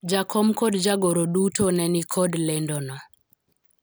jakom kod jagoro duto ne nikod lendo no